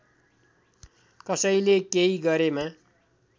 कसैले केही गरेमा